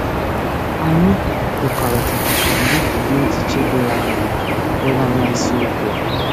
Anyị kwekọrịtara ka anyị jiri echiche doro anya legharịa isiokwu a.